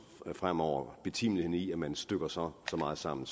fremover at diskutere betimeligheden i at man stykker så meget sammen